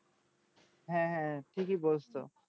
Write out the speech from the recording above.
হ্যাঁ হ্যাঁ ঠিকিই বলছো